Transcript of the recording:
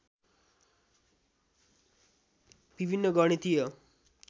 विभिन्न गणितीय